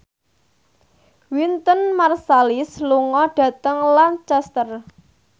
Wynton Marsalis lunga dhateng Lancaster